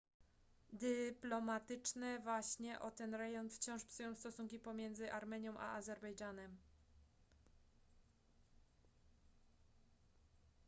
dyplomatyczne waśnie o ten rejon wciąż psują stosunki pomiędzy armenią a azerbejdżanem